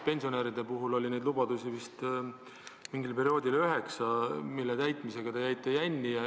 Pensionäride puhul oli neid lubadusi, mille täitmisega te mingil perioodil jänni jäite, vist üheksa.